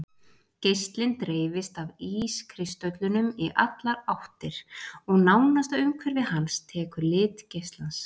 Geislinn dreifist af ískristöllunum í allar áttir og nánasta umhverfi hans tekur lit geislans.